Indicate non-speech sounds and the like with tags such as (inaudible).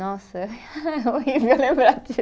Nossa, (laughs) é horrível lembrar disso.